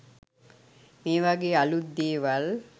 මේ වගේ අලුත් දේවල්